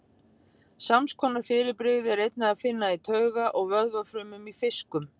Sams konar fyrirbrigði er einnig að finna í tauga- og vöðvafrumum í fiskum.